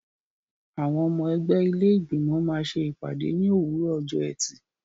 Àwọn ọmọ ẹgbẹ́ ilé Ìgbìmọ̀ máa ṣe ìpàdé ní òwúrọ̀ ọjọ́ ẹtì.